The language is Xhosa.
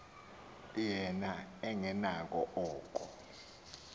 yena engenakho oko